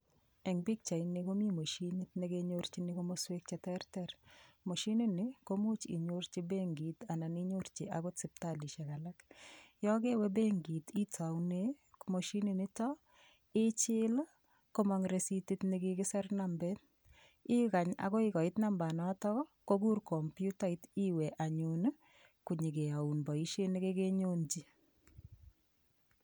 Eng' pikchaini komi moshinit nekinyorchini komoswek cheterter moshinini komuuch inyorchi benkit anan akot sipitalishek alak yo kewe benkit itoune moshininito ichil komong' risitit nekakiser nambet ikany akoi koit nambanoto kokur komputait iwe anyun konyikeyoun boishet nekekenyonji